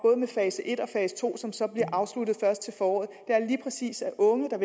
fase en og fase to som så bliver afsluttet først til foråret er lige præcis at unge der